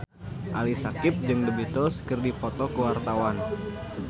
Ali Syakieb jeung The Beatles keur dipoto ku wartawan